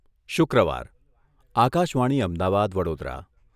શુક્રવાર આકાશવાણી અમદાવાદ, વડોદરા